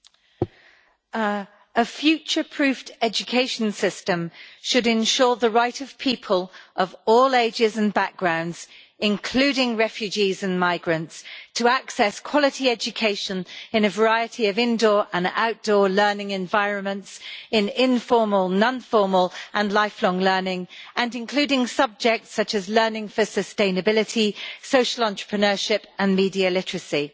Mr President, a future-proofed education system should ensure the right of people of all ages and backgrounds, including refugees and migrants, to access quality education in a variety of indoor and outdoor learning environments, in informal, non-formal and lifelong learning, and including subjects such as learning for sustainability, social entrepreneurship and media literacy.